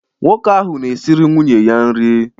Nwoke ahụ na-esịrị nwunye ya nri.